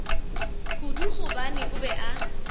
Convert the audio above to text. kudu gobane o be a